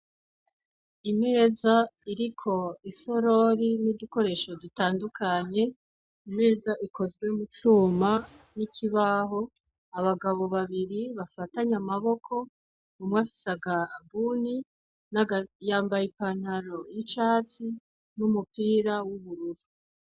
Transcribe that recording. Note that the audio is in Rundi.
Imeza iriko isorori n'udukoresho dutandukanye, imeza ikozwe mu cuma n'ikibaho, abagabo babiri bafatanye amaboko, umwe afise akabuni yambaye ipantaro y'icatsi n'umupira w'ubururu.